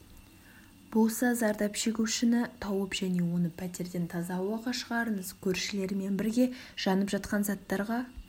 болса зардап шегушіні тауып және оны пәтерден таза ауаға шығарыңыз көршілермен бірге жанып жатқан заттарға